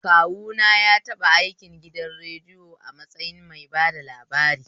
Kawuna na taɓa aikin gidan radiyo a matsayin mai bada labari